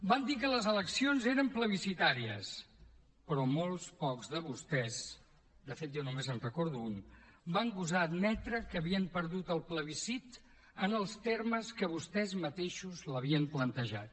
van dir que les eleccions eren plebiscitàries però molt pocs de vostès de fet jo només en recordo un van gosar admetre que havien perdut el plebiscit en els termes en què vostès mateixos l’havien plantejat